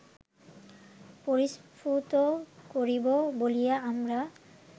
পরিস্ফুট করিব বলিয়া আমরা